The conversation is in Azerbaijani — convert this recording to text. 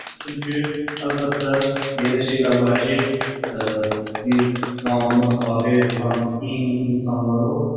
Çünki əlbəttə elə şeylər var ki, biz qanuna tabe olan insanlarırıq.